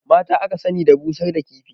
Mata aka sani da busar da kifi